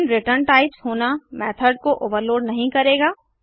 भिन्न return types होना method को ओवरलोड नहीं करेगा